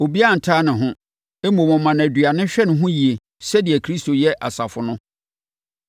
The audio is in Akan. Obiara ntane ne ho. Mmom, ɔma no aduane hwɛ no yie sɛdeɛ Kristo yɛ asafo no,